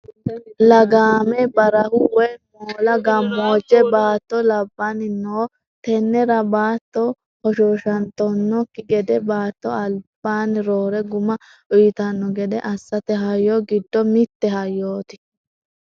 Lagame barahu woyi moola gamojame baatto labbanni no tenera baatto hoshoshattanokki gedenna baatto albini roore guma uyittano gede assate hayyo giddo mite hayyoti.